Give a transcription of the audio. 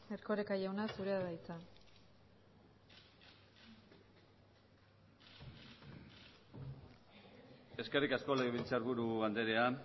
erkoreka jauna zurea da hitza eskerrik asko legebiltzarburu andrea